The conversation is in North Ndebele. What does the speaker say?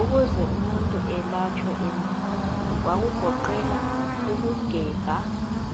Ukuze umuntu elatshwe endulo kwakugoqela ukugebha